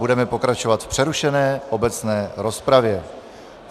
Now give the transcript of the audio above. Budeme pokračovat v přerušené obecné rozpravě.